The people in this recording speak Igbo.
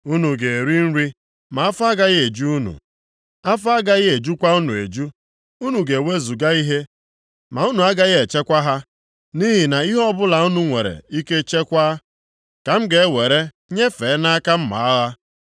Unu ga-eri nri ma afọ agaghị eju unu; afọ agaghị ejukwa unu eju. Unu ga-ewezuga ihe, ma unu agaghị echekwa ha, nʼihi na ihe ọbụla unu nwere ike chekwaa, ka m ga-ewere nyefee nʼaka mma agha.